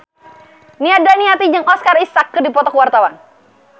Nia Daniati jeung Oscar Isaac keur dipoto ku wartawan